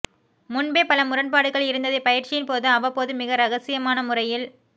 முன்பே பல முரண்பாடுகள் இருந்ததை பயிற்சியின் போது அவ்வப்போது மிக இரகசியமான முறையில்